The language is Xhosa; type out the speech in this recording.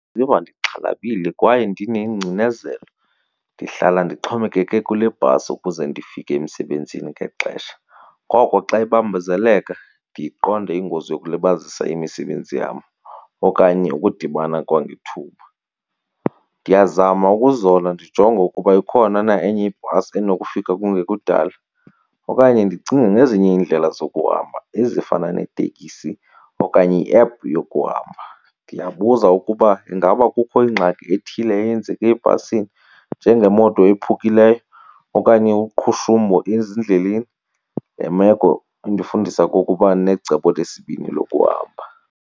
Ndiziva ndixhalabile kwaye ndinengcinezelo. Ndihlala ndixhomekeke kule bhasi ukuze ndifike emsebenzini ngexesha, ngoko xa ibambezeleka ndiyiqonde ingozi yokulibazisa imisebenzi yam okanye ukudibana kwangethuba. Ndiyazama ukuzola ndijonge ukuba ikhona na enye ibhasi enokufika kungekudala okanye ndicinge ngezinye iindlela zokuhamba ezifana neteksi okanye i-app yokuhamba. Ndiyabuza ukuba ingaba kukho ingxaki ethile eyenzeke ebhasini njengemoto ephukileyo okanye uqhushumbo ezindleleni. Le meko indifundisa okokuba necebo lesibini lokuhamba.